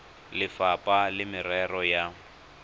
le lefapha la merero ya